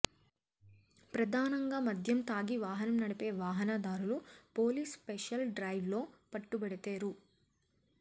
ప్రధానంగా మద్యం తాగి వాహనం నడిపే వాహనదారులు పోలీస్ స్పెషల్ డ్రైవ్లో పట్టుబడితే రూ